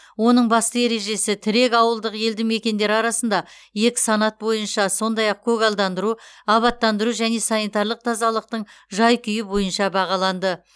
оның басты ережесі тірек ауылдық елді мекендер арасында екі санат бойынша сондай ақ көгалдандыру абаттандыру және санитарлық тазалықтың жай күйі бойынша бағаланды